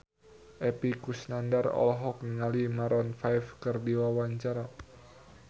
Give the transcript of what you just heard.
Epy Kusnandar olohok ningali Maroon 5 keur diwawancara